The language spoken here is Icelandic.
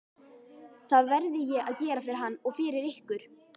Það verði ég að gera fyrir hann og fyrir ykkur!